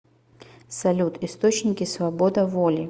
салют источники свобода воли